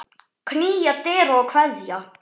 Knýja dyra og kveðja.